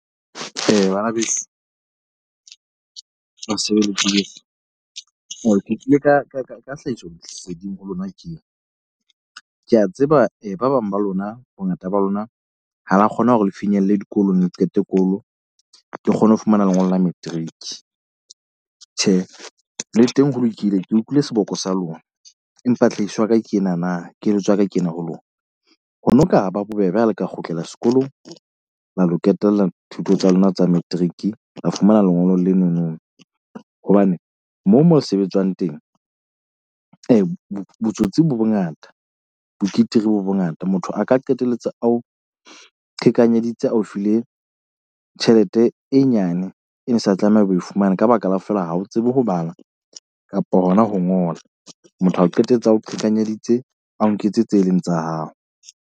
Banabeso ke tlile ka ka ka ka tlhahisoleseding ho lona tje. Ke a tseba ba bang ba lona bongata ba lona ha la kgona hore le finyelle dikolong. Le qete kolo ke kgone ho fumana lengolo la matric. Tjhe, le teng ho lokile. Ke utlwile seboko sa lona, empa tlhahiso ya ka ke ena na. Keletso ya ka ke ena ho lona. Ho no ka ba bobebe ha le ka kgutlela sekolong la lo ketella thuto tsa lona tsa matric. La fumana lengolo leno no hobane moo moo sebetsang teng . Botsotsi bo bongata bo bo bongata. Motho a ka qetelletse ao qhekanyeditse a o file tjhelete e nyane. E ne sa tlameha o fumane ka baka la feela ha o tsebe ho bala kapa hona ho ngola. Motho a o qetela ao qhekanyeditse a o nketse tse e leng tsa hao.